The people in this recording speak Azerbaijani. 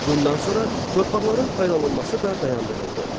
Bundan sonra torpaqların paylanılması da dayandırıldı.